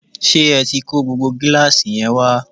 ṣé ẹ tí kó gbogbo gíláàsì yẹn wá?